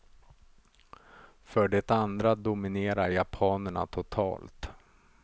För det andra dominerar japanerna totalt.